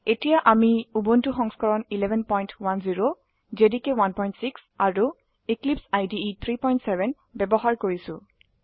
এতিয়া আমি উবুন্টু সংস্কৰণ 1110 জেডিকে 16 আৰু এক্লিপছাইড 370 ব্যবহাৰ কৰছি